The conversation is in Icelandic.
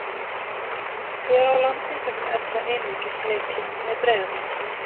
Hér á landi hefur Erla einungis leikið með Breiðabliki.